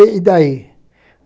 E daí?